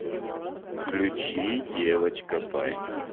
включи девочка пай